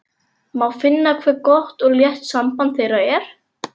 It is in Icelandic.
Má finna hve gott og létt samband þeirra er.